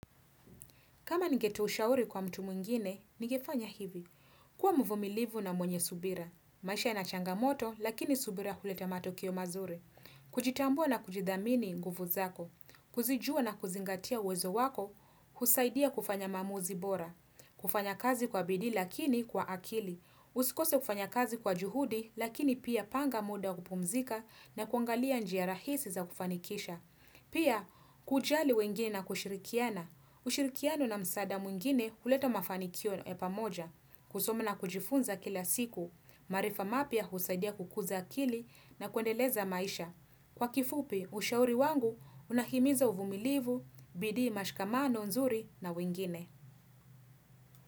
Kama ningetoa ushauri kwa mtu mwingine, nigefanya hivi. Kuwa mvumilivu na mwenye subira. Maisha ina changamoto, lakini subira huleta matokeo mazuri. Kujitambua na kujidhamini nguvu zako. Kuzijua na kuzingatia uwezo wako. Husaidia kufanya maamuzi bora. Kufanya kazi kwa bidii, lakini kwa akili. Usikose kufanya kazi kwa juhudi, lakini pia panga muda wa kupumzika na kuangalia njia rahisi za kufanikisha. Pia, kujali wengine na kushirikiana. Ushirikiano na msaada mwingine huleta mafanikio ya pamoja, kusoma na kujifunza kila siku, maarifa mapya husaidia kukuza akili na kuendeleza maisha. Kwa kifupi, ushauri wangu unahimiza uvumilivu, bidii mashkamano, nzuri na wengine.